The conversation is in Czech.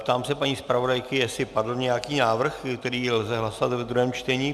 Ptám se paní zpravodajky, jestli padl nějaký návrh, který lze hlasovat ve druhém čtení.